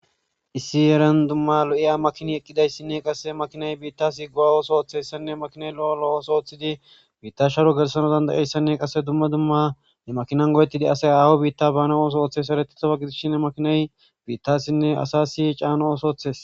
Issi eran dumma lo7iya makini eqqidayssinne qasse makinay biitta siggowa ooso ooththessanne makinay lo7o lo7ooso ooththidi biitta sharo gersano dandayeyssanne qasse dumma dumma ne makinan go7ettidi asay aawo biitta baana ooso ooththe saretihofa gidishin makinay biittassinne asa si caana ooso ooththes.